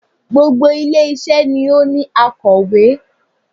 Gbogbo ilé isé ni ó ní akòwé